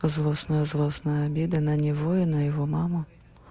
злостная злостная обида на него и на его маму